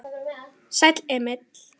Sæll, Emil minn.